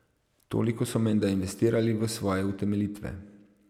Toliko so menda investirali v svoje utemeljitve.